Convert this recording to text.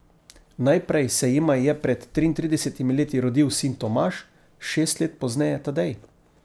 Najprej se jima je pred triintridesetimi leti rodil sin Tomaž, šest let pozneje Tadej.